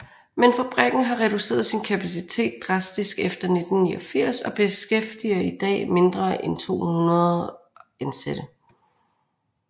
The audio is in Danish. Men fabrikken har reduceret sin kapacitet drastisk efter 1989 og beskæftiger i dag mindre end 200 ansatte